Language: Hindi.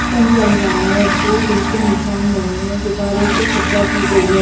चल रहा है दो दिल के निशान बने हुए है गुब्बारों से सज्जा की गई है।